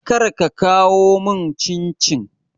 Kar ka kawo mun cincin